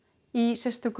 í sérstakri